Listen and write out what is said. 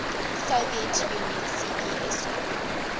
soviet union cpsu